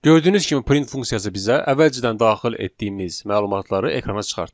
Gördüyünüz kimi print funksiyası bizə əvvəlcədən daxil etdiyimiz məlumatları ekrana çıxartdı.